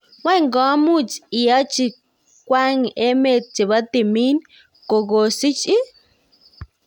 Kwang komuch iyachi kwang emet chepo timin kokosich ii?